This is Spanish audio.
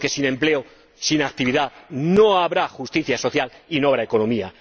Porque sin empleo, sin actividad, no habrá justicia social y no habrá economía.